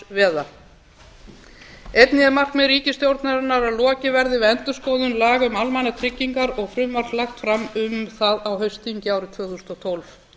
einnig er markmið ríkisstjórnarinnar að lokið verði við endurskoðun laga um almannatryggingar og frumvarp lagt fram um það á haustþingi árið tvö þúsund og tólf